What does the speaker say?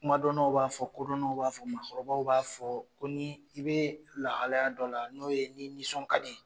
Kumadɔnnaw b'a fɔ kodɔnnaw b'a fɔ maakɔrɔbaw b'a fɔ ko ni i bɛ lahaya dɔ la n'o ye ni i nisɔn ka di.